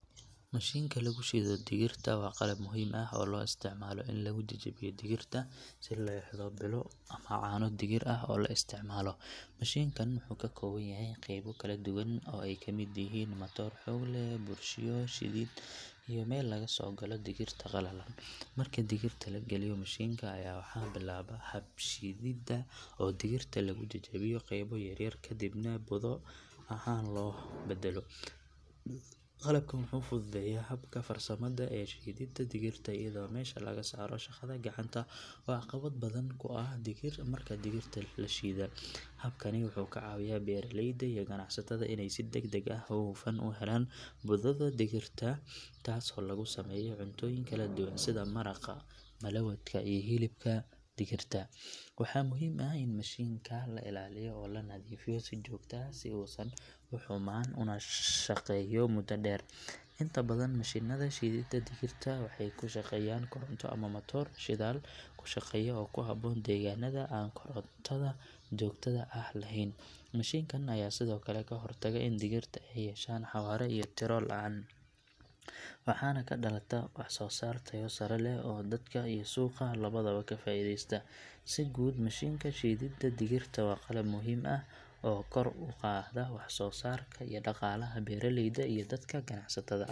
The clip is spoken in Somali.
Mashinka lagu shiido digirta waa qalab muhiim ah oo loo isticmaalo in lagu jajabiyo digirta si loo helo budo ama caano digir ah oo la isticmaalo. Mashinkan wuxuu ka kooban yahay qaybo kala duwan oo ay kamid yihiin matoor xoog leh, burushyo shiidid iyo meel laga soo galo digirta qalalan. Markii digirta la geliyo mashinka ayaa waxaa bilaabma habka shiididda oo digirta lagu jajabiyo qaybo yaryar kadibna budo ahaan loo beddelo. Qalabkan wuxuu fududeeyaa habka farsamada ee shiididda digirta, iyadoo meesha laga saaro shaqada gacanta oo caqabad badan ku ah dadka digirta shiida. Habkani wuxuu ka caawiyaa beeraleyda iyo ganacsatada in ay si degdeg ah oo hufan u helaan budada digirta taasoo lagu sameeyo cuntooyin kala duwan sida maraqa, malawadka iyo hilibka digirta. Waxaa muhiim ah in mashinka la ilaaliyo oo la nadiifiyo si joogto ah si uusan u xumaan una shaqeeyo muddo dheer. Inta badan mashinada shiididda digirta waxay ku shaqeeyaan koronto ama matoor shidaal ku shaqeeya oo ku habboon deegaanada aan korontada joogtada ah lahayn. Mashinkan ayaa sidoo kale ka hortaga in digirta ay yeeshaan xawaare iyo tiro la’aan, waxaana ka dhalata wax soo saar tayo sare leh oo dadka iyo suuqa labadaba ka faa’iideysta. Si guud mashinka shiididda digirta waa qalab muhiim ah oo kor u qaada wax soo saarka iyo dhaqaalaha beeraleyda iyo dadka ganacsatada ah.